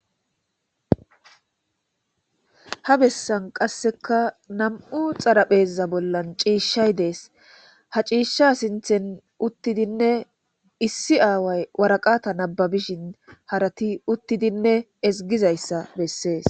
Ha bessan qasseka nam7u xaraphezza bollan ciishshay dees ha ciishsha sinthen uttidinne issi aaway waraqata nababishin harati uttidinne esgizayssa bessees.